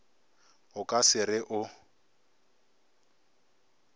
o ka se re o